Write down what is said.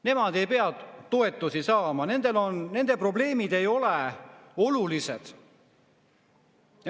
Nemad ei pea toetusi saama, nende probleemid ei ole olulised.